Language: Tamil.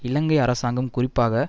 இலங்கை அரசாங்கம் குறிப்பாக